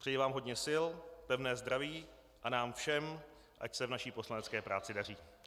Přeji vám hodně sil, pevné zdraví a nám všem, ať se v naší poslanecké práci daří.